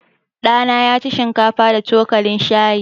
Ɗa na ya ci shinkafa da cokalin shayi.